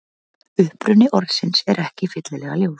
Uppruni orðsins er ekki fyllilega ljós.